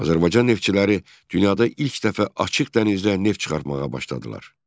Azərbaycan neftçiləri dünyada ilk dəfə açıq dənizdə neft çıxarmağa başladılar.